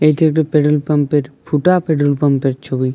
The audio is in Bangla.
এটি একটি পেট্রোল পাম্পে - এর ফুটা পেট্রোল পাম্পে -এর ছবি।